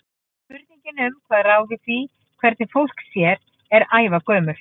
Spurningin um hvað ráði því hvernig fólk sé er ævagömul.